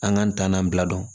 An k'an tanan bila